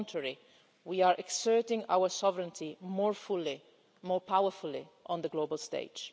On the contrary, we are exerting our sovereignty more fully and more powerfully on the global stage.